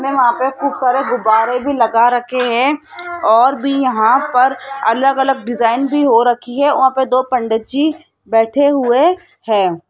में वहां पे खूब सारा गुब्बारे भी लगा रखे हैं और भी यहां पर अलग अलग डिजाइन भी हो रखी है वहां पर दो पंडित जी बैठे हुए हैं।